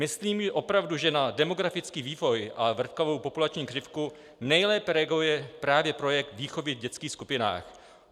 Myslím opravdu, že na demografický vývoj a vrtkavou populační křivku nejlépe reaguje právě projekt výchovy v dětských skupinách.